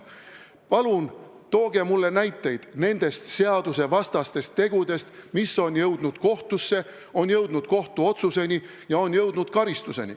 Palun tooge mulle näiteid nende seadusvastaste tegude kohta, mis on jõudnud kohtusse, kohtuotsuse ja karistuseni!